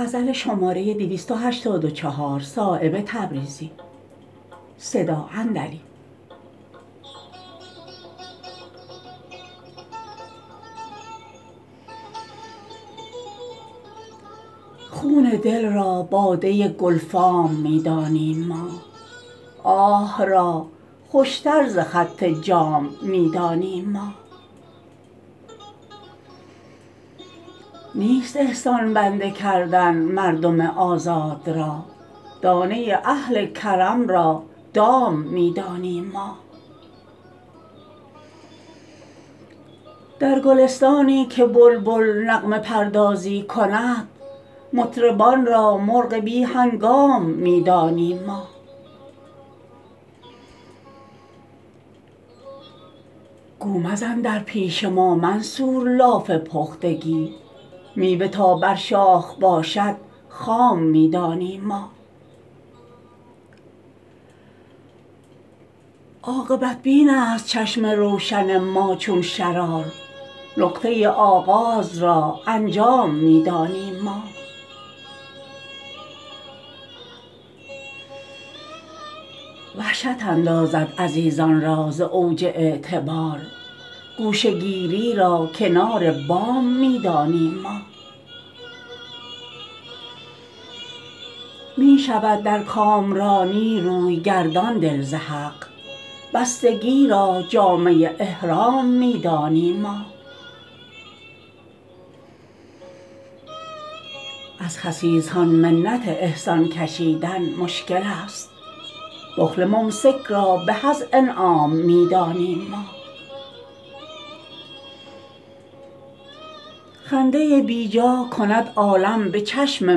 خون دل را باده گلفام می دانیم ما آه را خوشتر ز خط جام می دانیم ما نیست احسان بنده کردن مردم آزاد را دانه اهل کرم را دام می دانیم ما در گلستانی که بلبل نغمه پردازی کند مطربان را مرغ بی هنگام می دانیم ما گو مزن در پیش ما منصور لاف پختگی میوه تا بر شاخ باشد خام می دانیم ما عاقبت بین است چشم روشن ما چون شرار نقطه آغاز را انجام می دانیم ما وحشت اندازد عزیزان را ز اوج اعتبار گوشه گیری را کنار بام می دانیم ما می شود در کامرانی روی گردان دل ز حق بستگی را جامه احرام می دانیم ما از خسیسان منت احسان کشیدن مشکل است بخل ممسک را به از انعام می دانیم ما خنده بیجا کند عالم به چشم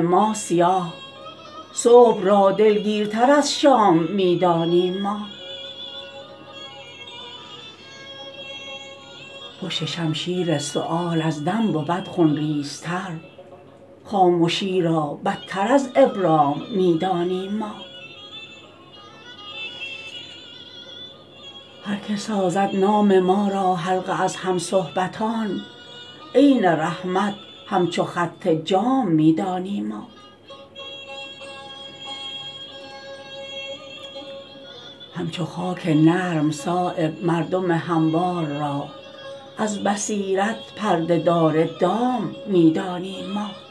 ما سیاه صبح را دلگیرتر از شام می دانیم ما پشت شمشیر سؤال از دم بود خونریزتر خامشی را بدتر از ابرام می دانیم ما هر که سازد نام ما را حلقه از هم صحبتان عین رحمت همچو خط جام می دانیم ما همچو خاک نرم صایب مردم هموار را از بصیرت پرده دار دام می دانیم ما